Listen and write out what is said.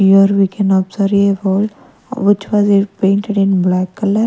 here we can observe a wall which was eh painted in black colour.